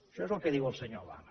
això és el que diu el senyor obama